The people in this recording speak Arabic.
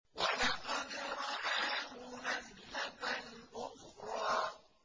وَلَقَدْ رَآهُ نَزْلَةً أُخْرَىٰ